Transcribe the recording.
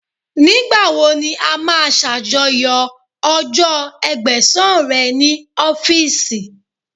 Nígbà wo ni a máa ṣàjọyọ̀ ọjọ́ Ẹgbẹ̀sán rẹ̀ ní ọ́fíìsì?